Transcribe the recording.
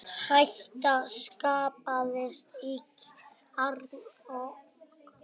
Hætta skapaðist í kjarnorkuveri